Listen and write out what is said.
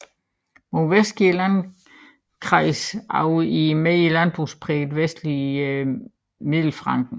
Mod vest går landkreisen over i det mere landbrugsprægede vestlige Mittelfranken